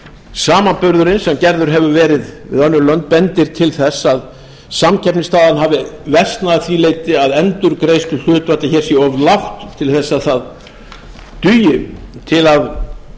samanburðurinn sem gerður hefur verið við önnur lönd bendir til þess að samkeppnisstaðan hafi versnað að því leyti að endurgreiðsluhlutfallið hér sé of lágt til þess að það dugi til að